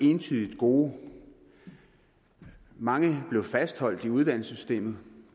entydigt gode mange blev fastholdt i uddannelsessystemet